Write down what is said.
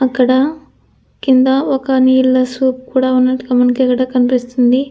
అక్కడ కింద ఒక నీళ్ల సూప్ కూడా మనకిక్కడ కనిపిస్తుంది.